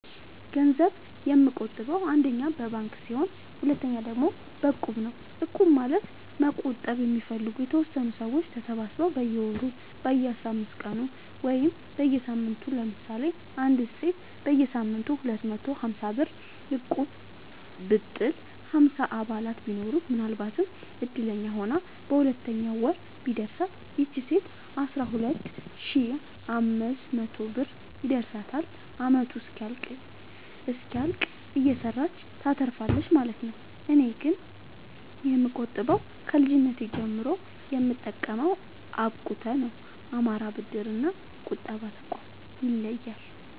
ገንዘብ የምቆ ጥበው አንደኛ በባንክ ሲሆን ሁለተኛ ደግሞ በእቁብ ነው እቁብ ማለት መቁጠብ የሚፈልጉ የተወሰኑ ሰዎች ተሰባስበው በየወሩ በየአስራአምስት ቀኑ ወይም በየሳምንቱ ለምሳሌ አንዲት ሴት በየሳምንቱ ሁለት መቶ ሀምሳብር እቁብጥል ሀምሳ አባላት ቢኖሩት ምናልባትም እድለኛ ሆና በሁለተኛው ወር ቢደርሳት ይቺ ሴት አስራሁለት ሺ አምስት መቶ ብር ይደርሳታል አመቱ እስኪያልቅ እየሰራች ታተርፋለች ማለት ነው። እኔ ግን የምቆጥበው ከልጅነቴ ጀምሮ የምጠቀመው አብቁተ ነው። አማራ ብድር እና ቁጠባ ጠቋም ይለያል።